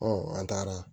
an taara